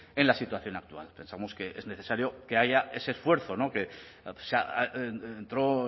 en la situación actual pensamos que es necesario que haya ese esfuerzo que entró